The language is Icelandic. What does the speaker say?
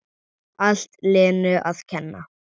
Allt Lenu að kenna!